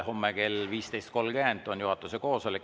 Homme kell 15.30 on juhatuse koosolek.